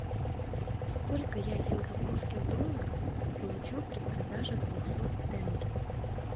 сколько я сингапурских долларов получу при продаже двухсот тенге